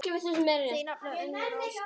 Þín nafna, Unnur Ósk.